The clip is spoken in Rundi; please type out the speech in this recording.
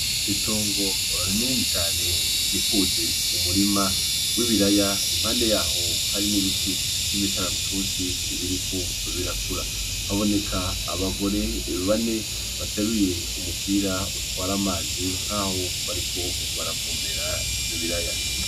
Itungu rinini cane rikikuje umurima w’ibiraya, impande yaho hari n'ibiti vy’imikaratusi biriko birakura. Haboneka abagore bane bateruye umupira utwara amazi nk’aho bariko baravomera ivyo biraya.